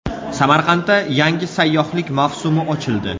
Samarqandda yangi sayyohlik mavsumi ochildi.